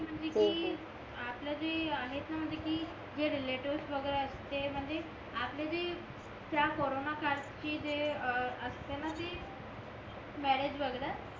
म्हणजे कि आपला जे आहेत ना म्हणजे कि जे रिलेटिव्हस वगैरे असते म्हणजे आपल्या जे त्या कॉरोन काळ चे जे असतेना ते मॅरेज वगैरे